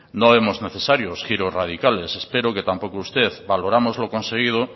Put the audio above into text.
no vemos necesarios giros radicales espero que tampoco usted valoramos lo conseguido